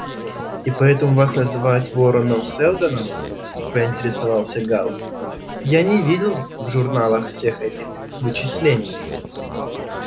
и поэтому вас называют вороном-сэлдоном поинтересовался гаал я не видел в журналах всех этих вычислений